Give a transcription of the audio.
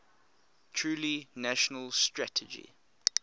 truly national strategy